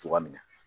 Cogoya min na